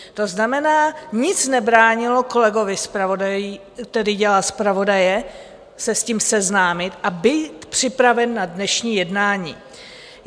To znamená, nic nebránilo kolegovi, který dělal zpravodaje, se s tím seznámit a být připraven na dnešní jednání.